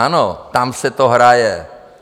Ano, tam se to hraje.